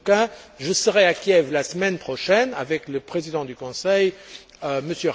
En tout cas, je serai à Kiev la semaine prochaine, avec le président du Conseil, M.